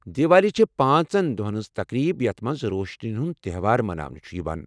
دیوالی چھِ پانژن دۄہن ہنٛز تقریٖب یتھ منٛز روشنین ہنٛد تہوار مناونہٕ چھُ یِوان۔